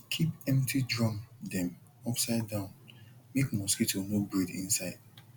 keep empty drum dem upside down make mosquito no breed inside